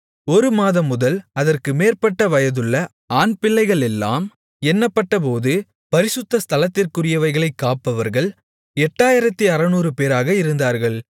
ஒரு மாதம் முதல் அதற்கு மேற்பட்ட வயதுள்ள ஆண்பிள்ளைகளெல்லாம் எண்ணப்பட்டபோது பரிசுத்த ஸ்தலத்திற்குரியவைகளைக் காப்பவர்கள் 8600 பேராக இருந்தார்கள்